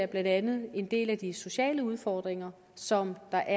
blandt andet en del af de sociale udfordringer som der